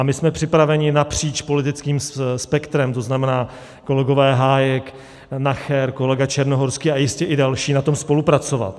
A my jsme připraveni napříč politickým spektrem, to znamená kolegové Hájek, Nacher, kolega Černohorský a jistě i další, na tom spolupracovat.